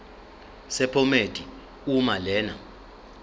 sephomedi uma lena